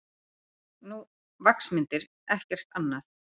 Nú, vaxmyndir, ekkert annað.